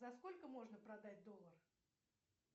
за сколько можно продать доллар